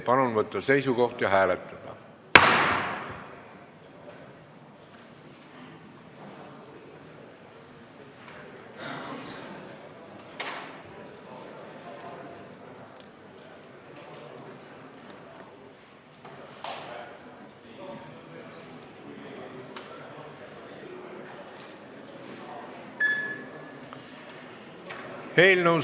Palun võtta seisukoht ja hääletada!